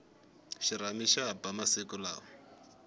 xirhami xa ba masiku lawa